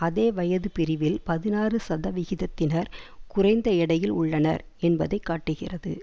அதே வயதுப் பிரிவில் பதினாறு சதவிகிதத்தினர் குறைந்த எடையில் உள்ளனர் என்பதை காட்டுகிறது